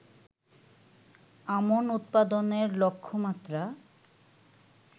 আমন উৎপাদনের লক্ষ্যমাত্রা